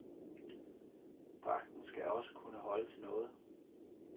Dragten skal også kunne holde til noget.